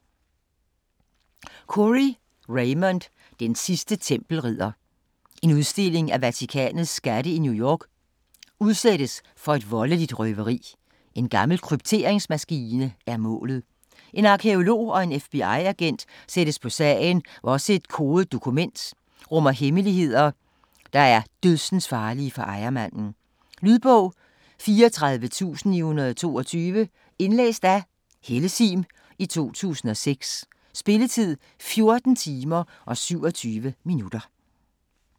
Khoury, Raymond: Den sidste tempelridder En udstilling af Vatikanets skatte i New York udsættes for et voldeligt røveri - en gammel krypteringsmaskine er målet. En arkæolog og en FBI-agent sættes på sagen, hvor også et kodet dokument rummer hemmeligheder, der en dødsensfarlige for ejermanden. Lydbog 34922 Indlæst af Helle Sihm, 2006. Spilletid: 14 timer, 27 minutter.